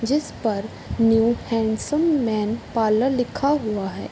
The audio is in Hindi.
जिस पर न्यू हैंडसम मैन पार्लर लिखा हुआ है।